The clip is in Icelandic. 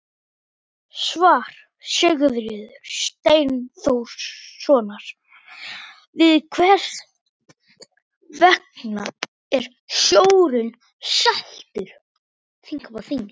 Svar Sigurðar Steinþórssonar við Hvers vegna er sjórinn saltur?